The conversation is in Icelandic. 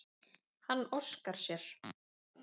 Hann óskar sér.